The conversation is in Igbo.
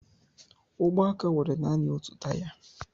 Ụgbọaka nwere nanị otu taya.